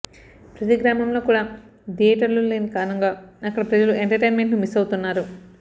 ప్రతి గ్రామంలో కూడా థియేటర్లు లేని కారణంగా అక్కడ ప్రజలు ఎంటర్టైన్మెంట్ను మిస్ అవుతున్నారు